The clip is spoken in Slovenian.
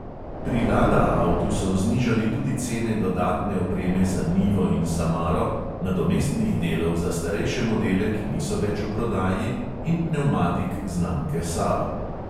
Pri lada avtu so znižali tudi cene dodatne opreme za nivo in samaro, nadomestnih delov za starejše modele, ki niso več v prodaji, in pnevmatik znamke sava.